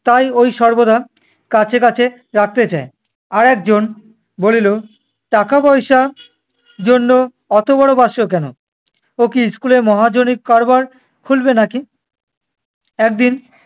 তাই ওই সর্বদা কাছে কাছে রাখতে চায়। আর একজন বলিল, টাকা-পয়সা জন্য অত বড় বাস্ক কেন? ও কি school এ মহাজনী কারবার খুলবে নাকি? একদিন